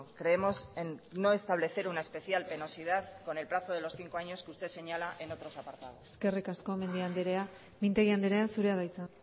creemos en no establecer una especial penosidad con el plazo de los cinco años que usted señala en otros apartados eskerrik asko mendia andrea mintegi andrea zurea da hitza